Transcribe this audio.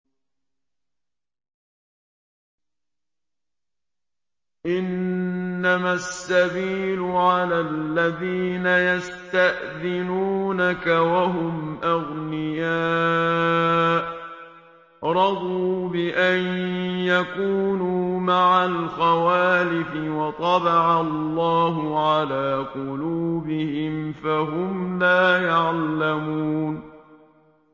۞ إِنَّمَا السَّبِيلُ عَلَى الَّذِينَ يَسْتَأْذِنُونَكَ وَهُمْ أَغْنِيَاءُ ۚ رَضُوا بِأَن يَكُونُوا مَعَ الْخَوَالِفِ وَطَبَعَ اللَّهُ عَلَىٰ قُلُوبِهِمْ فَهُمْ لَا يَعْلَمُونَ